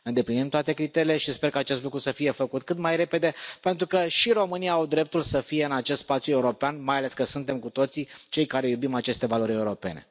Îndeplinim toate criteriile și sper ca acest lucru să fie făcut cât mai repede pentru că și românii au dreptul să fie în acest spațiu european, mai ales că suntem, cu toții, cei care iubim aceste valori europene.